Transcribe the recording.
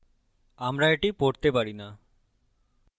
আমরা এটি পড়তে পারি না